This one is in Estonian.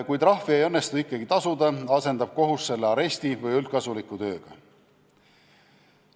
Kui trahvi ei õnnestu ikkagi tasuda, asendab kohus selle aresti või üldkasuliku tööga.